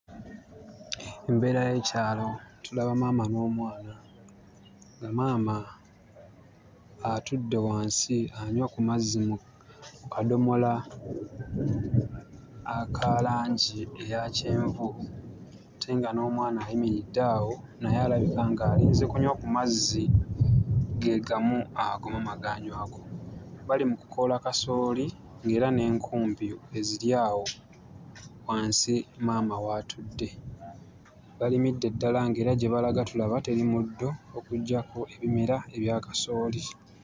Embeera y'ekyalo; tulaba maama n'omwana, nga maama atudde wansi anywa ku mazzi mu mu kadomola aka langi eya kyenvu ate nga n'omwana ayimiridde awo naye alabika ng'alinze kunywa ku mazzi ge gamu ago maama g'anywako. Bali mu kukoola kasooli, ng'era n'enkumbi weeziri awo wansi maama w'atudde. Balimidde ddala ng'era gye balaga tulaba teri muddo okuggyako ebimera ebya kasooli.